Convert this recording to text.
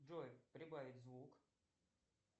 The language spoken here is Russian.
джой прибавить звук